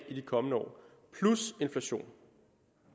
i de kommende år plus inflation